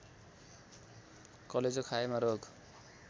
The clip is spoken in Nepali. कलेजो खाएमा रोग